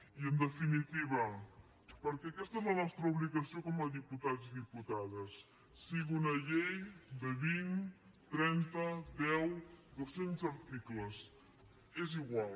i en definitiva perquè aquesta és la nostra obligació com a diputats i diputades que sigui una llei de vint trenta deu dos cents articles és igual